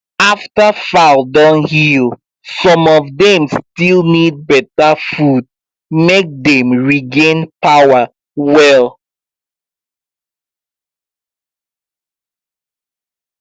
after fowl don heal some of dem still need beta food make dem regain power well